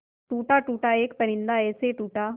टूटा टूटा एक परिंदा ऐसे टूटा